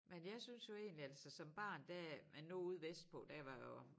Men jeg synes jo egentlig altså som barn der men nu ude vestpå der var jo